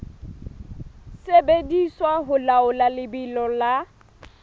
sebediswa ho laola lebelo la